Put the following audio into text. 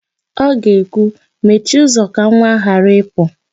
Ọ ga-ekwu, "mechie ụzọ ka nwa a ghara ịpụ"!